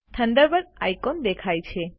Thunderbird icon દેખાય છે